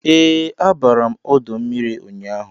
Ee, abara m ọdọ mmiri ụnyaahụ